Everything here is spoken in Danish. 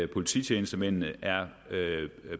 polititjenestemændene er